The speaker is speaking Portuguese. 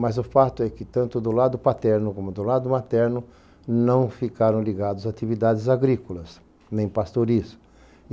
Mas o fato é que tanto do lado paterno como do lado materno não ficaram ligados atividades agrícolas, nem pastorismo.